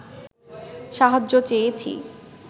সাহায্য চেয়েছি